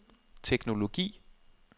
teknologi